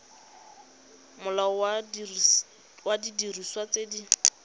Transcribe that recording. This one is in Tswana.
molao wa didiriswa tse di